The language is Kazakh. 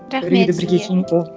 рахмет сізге